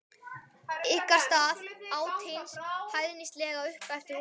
Ykkar stað, át hinn hæðnislega upp eftir honum.